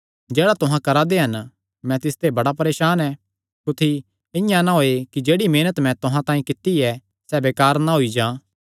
जेह्ड़ा तुहां करा दे हन मैं तिसते बड़ा परेसान ऐ कुत्थी इआं ना होयैं कि जेह्ड़ी मेहनत मैं तुहां तांई कित्ती ऐ सैह़ बेकार ना होई जां